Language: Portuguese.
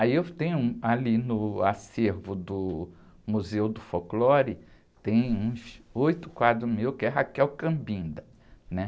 Aí eu tenho ali no acervo do Museu do Folclore, tem uns oito quadros meus que é, né?